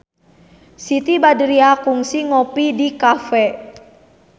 Siti Badriah kungsi ngopi di cafe